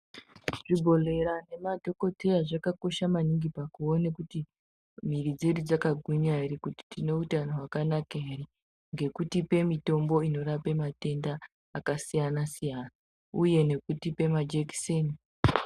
Zvibhedhlera nemadhokodheya zvakakosha maningi pakuona kuti mwiri dzedu dzakagwinya ere kuti tine utano hwakanaka ere ngekutipa mitombo inorapa matenda akasiyana-siyana uye nekutipa majekiseni.